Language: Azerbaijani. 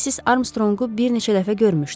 Missis Armstrongu bir neçə dəfə görmüşdüm.